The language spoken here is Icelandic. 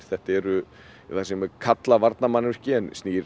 þetta eru það sem er kallað varnarmannvirki en snýr